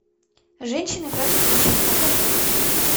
женщины против мужчин покажи